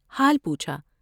حال پوچھا ۔